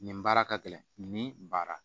Nin baara ka gɛlɛn nin baara